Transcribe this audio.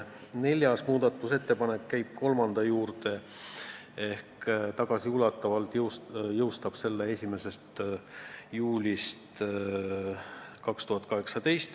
Neljas muudatusettepanek käib kolmanda juurde ehk tagasiulatuvalt jõustab selle 1. juulist 2018.